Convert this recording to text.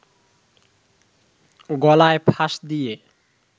গলায় ফাঁস দিয়ে